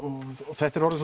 þetta er orðið